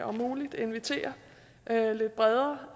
om muligt inviterer lidt bredere